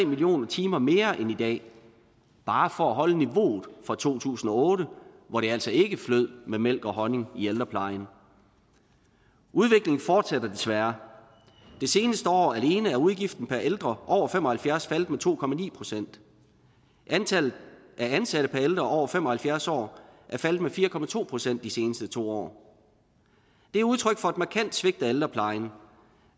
millioner timer mere end i dag bare for at holde niveauet fra to tusind og otte hvor det altså ikke flød med mælk og honning i ældreplejen udviklingen fortsætter desværre det seneste år alene er udgiften per ældre over fem og halvfjerds år faldet med to procent antallet af ansatte per ældre over fem og halvfjerds år er faldet med fire procent de seneste to år det er udtryk for et markant svigt af ældreplejen